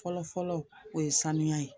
Fɔlɔ fɔlɔ o ye sanuya ye